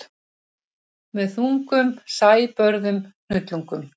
Með þungum sæbörðum hnullungum.